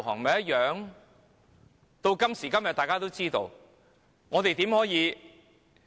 到了今時今日，大家都已經知道。